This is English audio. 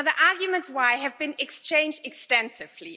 The arguments why have been exchanged extensively.